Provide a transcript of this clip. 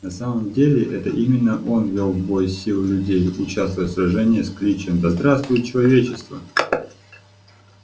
на самом деле это именно он вёл в бой силы людей участвуя в сражении с кличем да здравствует человечество